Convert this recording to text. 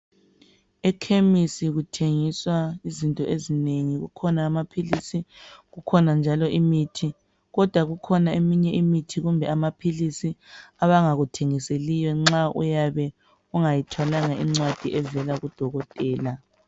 Ekhemisi kuthengiswa izinto ezinengi .Kukhona amaphilisi ,kukhona njalo imithi. Kodwa kukhona eminye imithi kumbe amaphilisi abangakuthengiseliyo nxa uyabe ungayithwalanga incwadi evela kudokotela .